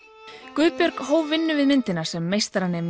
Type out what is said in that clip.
Guðbjörg hóf vinnu við myndina sem